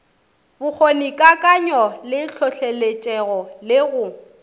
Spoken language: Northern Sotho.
bokgonikakanyo le hlohloletšego le go